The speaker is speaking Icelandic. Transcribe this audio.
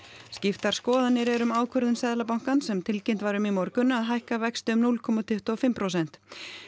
skiptar skoðanir eru um ákvörðun Seðlabankans sem tilkynnt var um í morgun að hækka vexti um núll komma tuttugu og fimm prósent